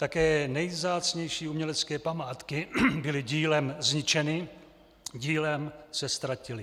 Také nejvzácnější umělecké památky byly dílem zničeny, dílem se ztratily.